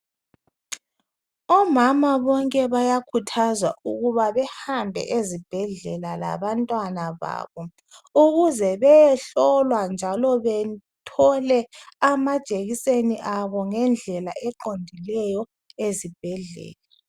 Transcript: Omama bonke bayakhuthazwa ukuba behambe ezibhedlela labantwana babo ukuze beyehlolwa njalo bethole amajekiseni abo ngendlela eqondileyo ezibhedlela.